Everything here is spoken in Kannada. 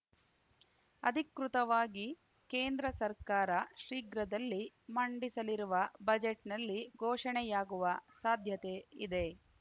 ಅಧಿಕೃತವಾಗಿ ಕೇಂದ್ರ ಸರ್ಕಾರ ಶೀಘ್ರದಲ್ಲಿ ಮಂಡಿಸಲಿರುವ ಬಜೆಟ್‌ನಲ್ಲಿ ಘೋಷಣೆಯಾಗುವ ಸಾಧ್ಯತೆ ಇದೆ